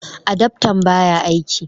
Adaftan baya aiki